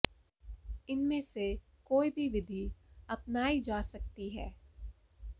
इनमें से कोई भी विधि अपनाई जा सकती है